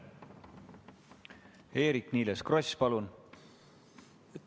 Eerik-Niiles Kross, palun!